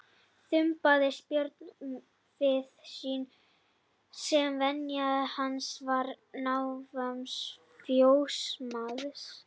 Þumbaðist Björn við vinnu sína sem venja hans var í návist fjósamanns.